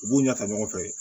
U b'u ɲɛ ta ɲɔgɔn fɛ